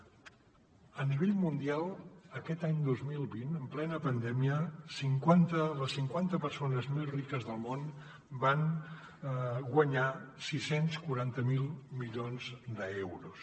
a nivell mundial aquest any dos mil vint en plena pandèmia les cinquanta persones més riques del món van guanyar sis cents i quaranta miler milions d’euros